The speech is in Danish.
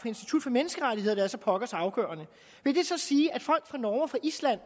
institut for menneskerettigheder der er så pokkers afgørende vil det så sige at folk fra norge og fra island